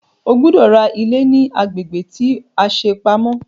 O gbọ́dọ̀ ra ilé ní agbègbè tí a ṣe pamọ́!